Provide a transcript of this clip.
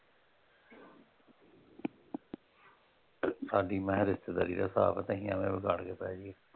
ਸਾਡੀ ਮੈਂ ਕਿਹਾ ਰਿਸ਼ਤੇਦਾਰੀ ਦਾ ਹਿਸਾਬ ਆ ਤੇ ਅਸੀਂ ਐਵੇਂ ਵਿਗਾੜ ਕੇ ਬਹਿ ਜਾਈਏ।